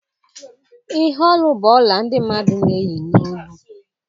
ihe olu bụ ọla ndị mmadụ na-eyi n'olu